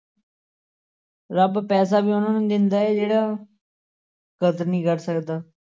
ਰੱਬ ਪੈਸਾ ਵੀ ਉਹਨਾਂ ਨੂੰ ਦਿੰਦਾ ਹੈ ਜਿਹੜਾ ਕਦਰ ਨੀ ਕਰ ਸਕਦਾ।